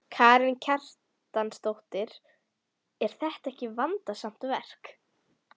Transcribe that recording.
Karen Kjartansdóttir: Er þetta ekki vandasamt verk?